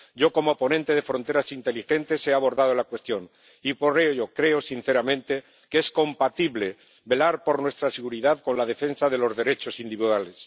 Yo, como ponente del paquete sobre fronteras inteligentes, he abordado la cuestión y, por ello, creo sinceramente que es compatible velar por nuestra seguridad con la defensa de los derechos individuales.